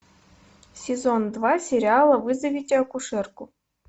сезон два сериала вызовите акушерку